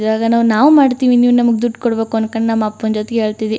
ಈವಾಗ್ ನಾವು ಮಾಡತ್ತಿವಿ ನೀವ್ ನಮಗೆ ದುಡ್ಡ ಕೊಡಬೇಕು ಅನ್ನಕೊಂಡ್ ನಮ್ಮ ಅಪ್ಪನ್ ಜೊತೆಗೆ ಹೇಳತ್ತಿವಿ.